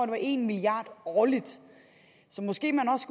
var en milliard årligt så måske man også